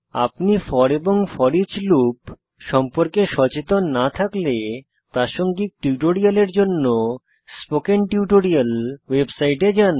আপনি ফোর এবং foreach loop সম্পর্কে সচেতন না থাকলে প্রাসঙ্গিক টিউটোরিয়ালের জন্য স্পোকেন টিউটোরিয়াল ওয়েবসাইটে যান